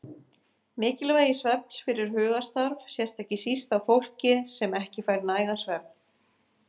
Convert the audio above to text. Mikilvægi svefns fyrir hugarstarf sést ekki síst á fólki sem ekki fær nægan svefn.